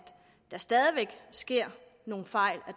der stadig væk sker nogle fejl